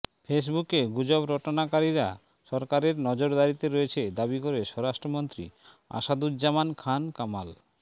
ফেসবুকে গুজব রটনাকারীরা সরকারের নজরদারিতে রয়েছে দাবি করে স্বরাষ্ট্রমন্ত্রী আসাদুজ্জামান খান কামাল